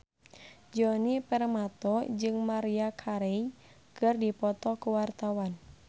Djoni Permato jeung Maria Carey keur dipoto ku wartawan